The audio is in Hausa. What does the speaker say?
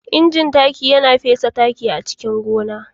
inji taki Yana fesa taki a cikin gona.